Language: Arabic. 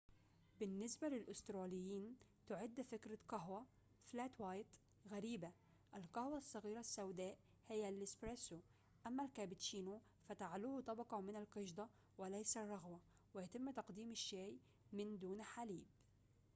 بالنسبة للأستراليين، تعد فكرة قهوة فلات وايت غريبة. القهوة الصغيرة السوداء هي الإسبرسو"، أمّا الكابتشينو فتعلوه طبقة من القشدة وليس الرغوة، ويتم تقديم الشاي من دون حليب